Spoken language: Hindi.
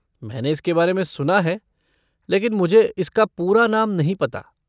मैंने इसके बारे में सुना है लेकिन मुझे इसका पूरा नाम नहीं पता।